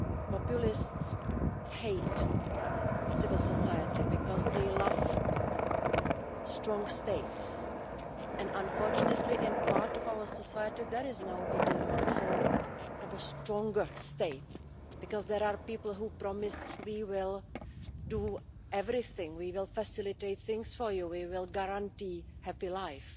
Populists hate civil society because they love a strong state and, unfortunately, in part of our society there is now the demand for an ever stronger state, because there are people who promise they will do everything to facilitate things for you, to guarantee you a happy life.